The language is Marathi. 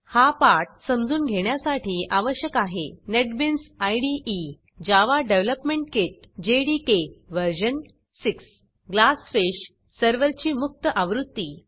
हा पाठ समजून घेण्यासाठी आवश्यक आहेः NetBeans IDE Java development kit version 6 GlassFishग्लासफिश सर्व्हरची मुक्त आवृत्ती